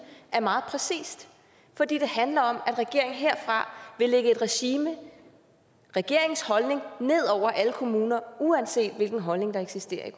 er meget præcist for det handler om at regeringen herfra vil lægge et regime regeringens holdning ned over alle kommuner uanset hvilken holdning der eksisterer